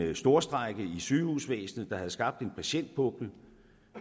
en storstrejke i sygehusvæsenet der have skabt en patientpukkel